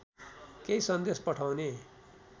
केही सन्देश पठाउने